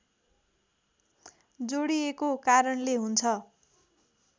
जोडिएको कारणले हुन्छ